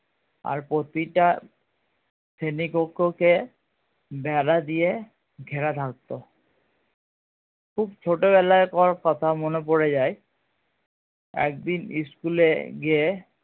আর প্রতিটা শ্রেণী কক্ষ কে বেড়া দিয়ে ঘেরা থাকতো খুব ছোটো বেলাকার কথা মনে পড়ে যায় একদিন school এ গিয়ে